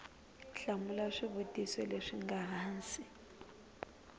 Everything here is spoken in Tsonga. hlamula swivutiso leswi nga hansi